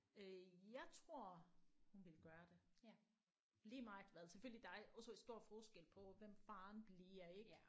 Øh jeg tror hun ville gøre det lige meget hvad selvfølgelig der er også stor forskel på hvem faren bliver ik